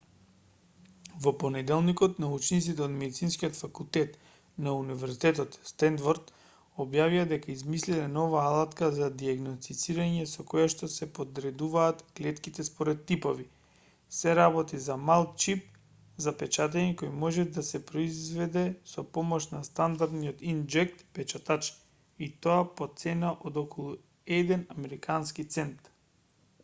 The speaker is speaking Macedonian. во понеделникот научниците од медицинскиот факултет на универзитетот стенфорд објавија дека измислиле нова алатка за дијагностицирање со којашто се подредуваат клетките според типови се работи за мал чип за печатење кој може да се произведе со помош на стандардни инк-џет печатачи и тоа по цена од околу еден американски цент